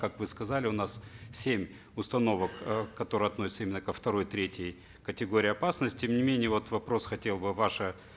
как вы сказали у нас семь установок э которые относятся именно ко второй третьей категории опасности тем не менее вот вопрос хотел бы ваше